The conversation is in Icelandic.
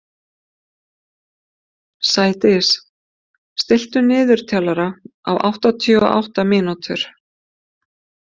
Sædís, stilltu niðurteljara á áttatíu og átta mínútur.